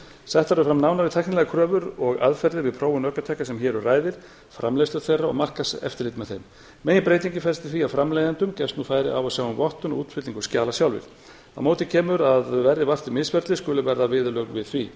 settar eru fram nánari tæknilegar kröfur og aðferðir og prófun ökutækja sem hér um ræðir framleiðslu þeirra og markaðseftirlit með þeim meginbreytingin felst í því að framleiðendum gefst nú færi á að sjá um vottun og útfyllingu skjala sjálfir á móti kemur að verði vart um misferli skuli verða viðurlög við því